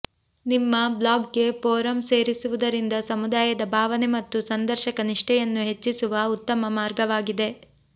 ನಿಮ್ಮ ಬ್ಲಾಗ್ಗೆ ಫೋರಂ ಸೇರಿಸುವುದರಿಂದ ಸಮುದಾಯದ ಭಾವನೆ ಮತ್ತು ಸಂದರ್ಶಕ ನಿಷ್ಠೆಯನ್ನು ಹೆಚ್ಚಿಸುವ ಉತ್ತಮ ಮಾರ್ಗವಾಗಿದೆ